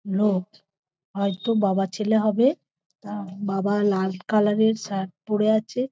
লোক হয় তো বাবা ছেলে হবে। তা বাবা লাল কালার - এর শার্ট পরে আছে।